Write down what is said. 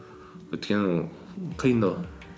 өйткені қиындау